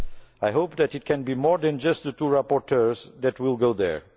I hope that it can be more than just the two rapporteurs who will go there.